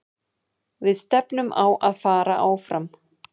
Við stefnum á að fara áfram.